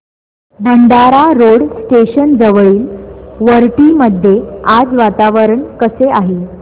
Bhandara road station जवळील वरठी मध्ये आज वातावरण कसे आहे